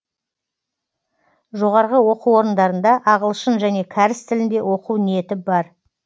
жоғарғы оқу орындарында ағылшын және кәріс тілінде оқу ниетім бар